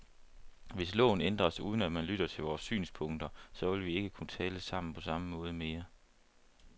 Hvis loven ændres, uden at man lytter til vores synspunkter, så vil vi ikke kunne tale sammen på samme måde mere.